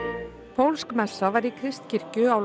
pólsk messa var í Kristskirkju á